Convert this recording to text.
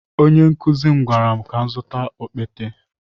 Onye nkụzi gwara m ka m zụta okpete.